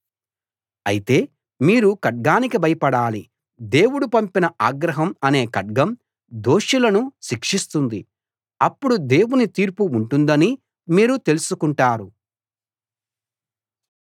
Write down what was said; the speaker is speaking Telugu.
అయితే మీరు ఖడ్గానికి భయపడాలి దేవుడు పంపిన ఆగ్రహం అనే ఖడ్గం దోషులను శిక్షిస్తుంది అప్పుడు దేవుని తీర్పు ఉంటుందని మీరు తెలుసుకుంటారు